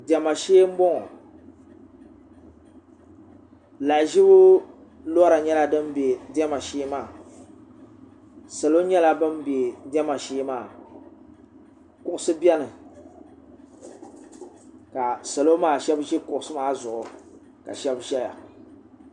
diɛma shee n boŋo lahaʒibu lora nyɛla din bɛ diɛma shee maa salo nyɛla bin bɛ diɛma shee maa kuɣusi biɛni ka salo maa shab ʒi kuɣusi maa zuɣu ka shab ʒɛya